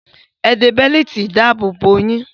Ẹ de bẹ́lììtì ìdáàbò yín!